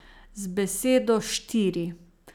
Z besedo štiri.